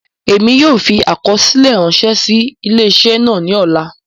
Emi yóò fi akọsilẹ ranṣẹ si ile-iṣẹ naa ni ọla.